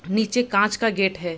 नीचे कांच का गेट है।